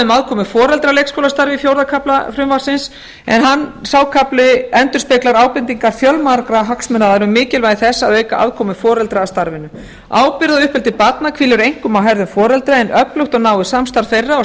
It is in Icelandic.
um aðkomu foreldra að leikskólastarfi í fjórða kafla frumvarpsins en sá kafli endurspeglar ábendingar fjölmargra hagsmunaaðila um mikilvægi þess að auka aðkomu foreldra að starfinu ábyrgð á uppeldi barna hvílir einkum á herðum foreldra en öflugt og náið samstarf þeirra og